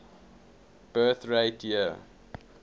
birth rate year